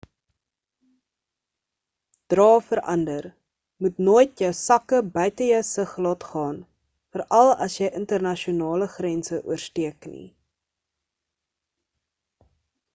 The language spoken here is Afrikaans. dra vir ander moet nooit jou sakke buite jou sig laat gaan veral as jy internasionale grense oorsteek nie